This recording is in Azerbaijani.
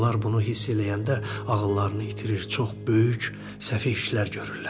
Onlar bunu hiss eləyəndə ağıllarını itirir, çox böyük səhv işlər görürlər.